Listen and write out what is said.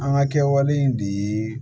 An ka kɛwale in dii